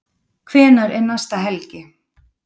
Hvenær er næsta helgi?